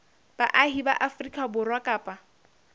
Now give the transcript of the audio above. baahi ba afrika borwa kapa